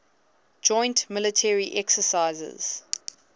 joint military exercises